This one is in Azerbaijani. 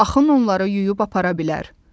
Axın onları yuyub apara bilər.